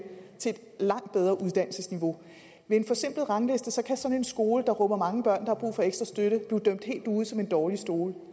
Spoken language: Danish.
til et langt bedre uddannelsesniveau ved en forsimplet rangliste kan sådan en skole der rummer mange børn der har brug for ekstra støtte blive dømt helt ude som en dårlig skole